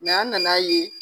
an nana ye.